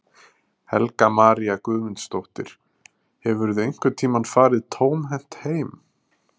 Helga María Guðmundsdóttir: Hefurðu einhvern tímann farið tómhent heim?